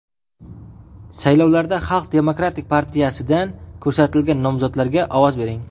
Saylovlarda Xalq demokratik partiyasidan ko‘rsatilgan nomzodlarga ovoz bering!